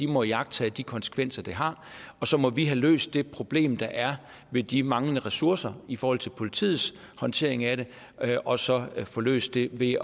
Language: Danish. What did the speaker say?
må iagttage de konsekvenser det har og så må vi have løst det problem der er med de manglende ressourcer i forhold til politiets håndtering af det og så få løst det ved